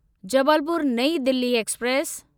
Jabalpur Nai Delhi express